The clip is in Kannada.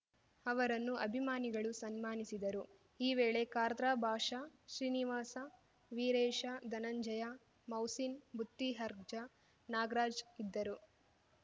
ಅವರನ್ನು ಅಭಿಮಾನಿಗಳು ಸನ್ಮಾನಿಸಿದರು ಈ ವೇಳೆ ಖಾರ್ದರಾ ಭಾಷಾ ಶ್ರೀನಿವಾಸ ವೀರೇಶ ಧನಂಜಯ ಮೌಸಿನ್‌ ಬುತ್ತಿ ಅರ್ಜಾ ನಾಗ್ರಾಜ್ ಇದ್ದರು